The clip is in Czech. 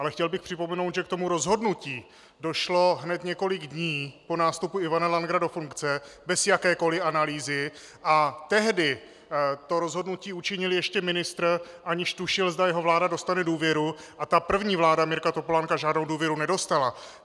Ale chtěl bych připomenout, že k tomu rozhodnutí došlo hned několik dní po nástupu Ivana Langera do funkce bez jakékoliv analýzy a tehdy to rozhodnutí učinil ještě ministr, aniž tušil, zda jeho vláda dostane důvěru - a první vláda Mirka Topolánka žádnou důvěru nedostala!